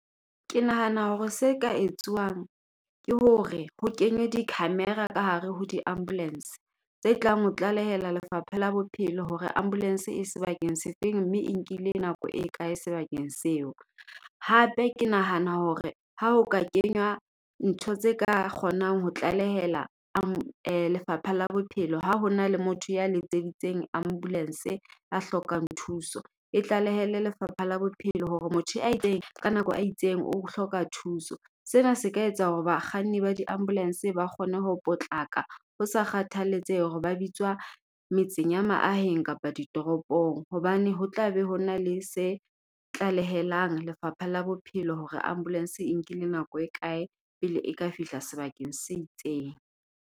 Ke nahana hore se ka etsuwang ke hore ho kenywe di-camera ka hare ho di ambulense, tse tlang ho tlalehela lefapha la bophelo hore ambulense e sebakeng sefeng mme e nkile nako e kae sebakeng seo. Hape ke nahana hore, ha o ka kenywa ntho tse ka kgonang ho tlalehela lefapha la bophelo ha ho na le motho ya letseditseng ambulanse a hlokang thuso, e tlalehele lefapha la bophelo hore motho a itseng ka nako a itseng o hloka thuso. Sena se ka etsa hore bakganni ba di-ambulanse ba kgone ho potlaka, ho sa kgathaletsehe hore ba bitswa metseng ya maaheng kapa ditoropong hobane ho tla be ho na le se tlaleheleng lefapha la bophelo hore ambulense e nkile nako e kae pele e ka fihla sebakeng se itseng.